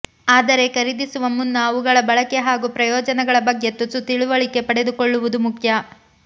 ಆದರೆ ಖರೀದಿಸುವ ಮುನ್ನ ಅವುಗಳ ಬಳಕೆ ಹಾಗೂ ಪ್ರಯೋಜನಗಳ ಬಗ್ಗೆ ತುಸು ತಿಳಿವಳಿಕೆ ಪಡೆದುಕೊಳ್ಳುವುದು ಮುಖ್ಯ